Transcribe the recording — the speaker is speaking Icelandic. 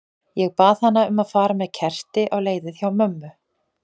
Ég bað hana um að fara með kerti á leiðið hjá mömmu.